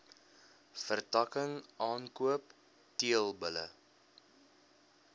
vertakking aankoop teelbulle